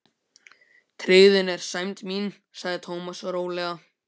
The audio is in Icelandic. Tryggðin er sæmd mín sagði Thomas rólega.